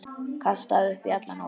Kastaði upp í alla nótt.